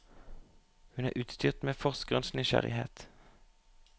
Hun er utstyrt med forskerens nysgjerrighet.